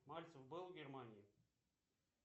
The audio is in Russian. мальцев был в германии